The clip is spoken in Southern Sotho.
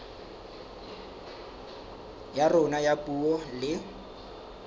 ya rona ya puo le